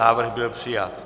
Návrh byl přijat.